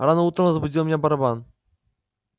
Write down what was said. рано утром разбудил меня барабан